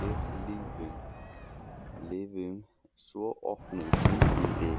Við lifum svo opnu kynlífi